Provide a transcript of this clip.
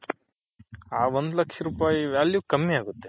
ಹ ಒಂದ್ ಲಕ್ಷ ರೂಪಾಯಿ value ಕಮ್ಮಿ ಆಗುತ್ತೆ .